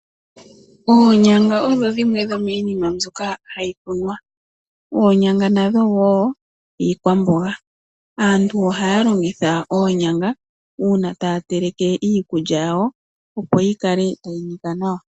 Oonyanga odho dhimwe dho miinima mbyoka hayi kunwa . Oonyanga nadho woo iikwamboga . Aantu ohaya longitha oonyanga uuna taya teleke iikulya yawo opo yi kale tayi nika nawa .